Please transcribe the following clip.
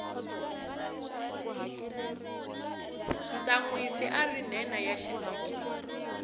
tsanwisi ari nhenha ya xitsonga